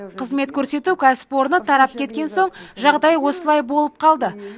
қызмет көрсету кәсіпорны тарап кеткен соң жағдай осылай болып қалды